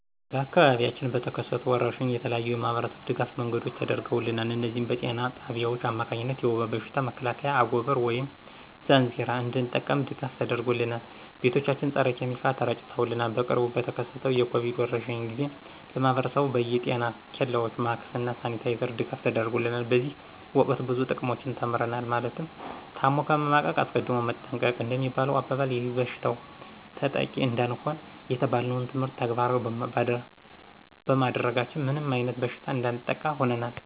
በአካባቢያችን በተከሰቱ ወረርሽኝ የተለያዩ የማህበረሰብ ድጋፍ መንገዶች ተደርገውልናል እነዚህም በጤና ጣቢያዎች አማካኝነት የውባ በሽታ መከላከያ አጎበር ወይም ዛንዚራ እንድንጠቀም ድጋፍ ተደርጎልናል። ቤቶቻችን ፀረ ኪሚካል ተረጭተውልናል። በቅርቡ በተከሰተው የኮቪድ ወረርሽኝ ጊዜ ለማህብረሰቡ በየ ጤና ኬላዎች ማክስ እና ሳኒታይዘር ድጋፍ ተደርጎልናል። በዚህ ወቅት ብዙ ጥቅሞችን ተምረናል ማለትም ታሞ ከመማቀቅ አስቀድሞ መጠንቀቅ እንደሚባለሁ አባባል ይበሽታው ተጠቂ እንዳንሆን የተባልነውን ትምህርት ተግባራዊ ባማድረጋችን ምንም አይነት በሽታ እንዳያጠቃን ሁነናል